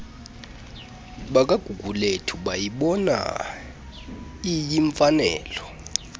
bakagugulethu bayibona iyimfanelo